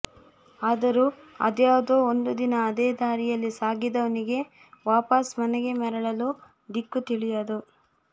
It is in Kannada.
ಆದರೂ ಅದ್ಯಾವುದೋ ಒಂದು ದಿನ ಅದೇ ದಾರಿಯಲ್ಲಿ ಸಾಗಿದವನಿಗೆ ವಾಪಸ್ ಮನೆಗೆ ಮರಳಲು ದಿಕ್ಕು ತಿಳಿಯದು